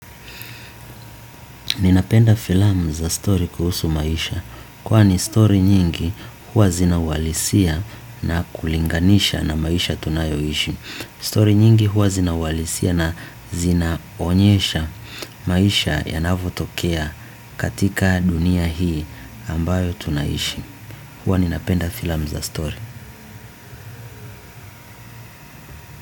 Ninapenda film za story kuhusu maisha. Kwani story nyingi huwa zina uhalisia na kulinganisha na maisha tunayoishi. Story nyingi huwa zina uhalisia na zinaonyesha maisha yanavotokea katika dunia hii ambayo tunaishi. Huwa ninapenda filamu za story.